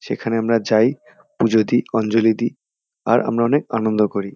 সেখানে আমরা যাই পুজো দিই অঞ্জলি দিই আর আমরা অনেক আনন্দ করি।